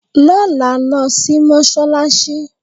Lọ́la, lọ sí Mọ́ṣálásí!